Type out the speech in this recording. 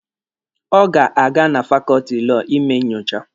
Ọ ga-aga na fakọọtị Lọọ ime nyocha.